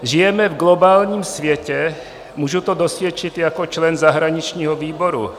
Žijeme v globálním světě, mohu to dosvědčit jako člen zahraničního výboru.